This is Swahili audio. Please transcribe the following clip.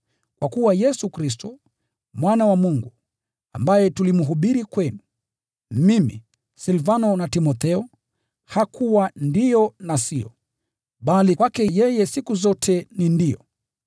Kwa kuwa Yesu Kristo, Mwana wa Mungu, ambaye tulimhubiri kwenu: Mimi, Silvano na Timotheo, hakuwa “Ndiyo” na “Siyo,” bali kwake yeye siku zote ni “Ndiyo.”